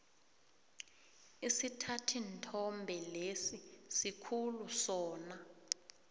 isithathinthombe lesi sikhulu sona